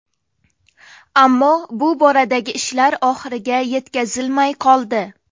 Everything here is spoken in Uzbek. Ammo bu boradagi ishlar oxiriga yetkazilmay qoldi.